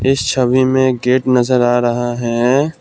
इस छवि में गेट नजर आ रहा है।